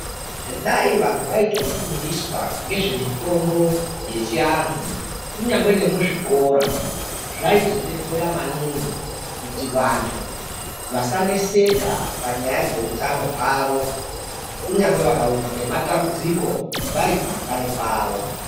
Dai vantu vaitofundiswa ngezvemitombo yechiantu kunyangwe nemuzvikora zvaizobetsera maningi kuti vantu vasaneseka panyaya dzeutano hwavo. Kunyangwe vakawirwa ngematambudziko vari kumakanyi kwavo.